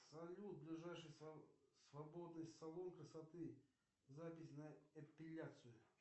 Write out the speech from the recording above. салют ближайший свободный салон красоты запись на эпиляцию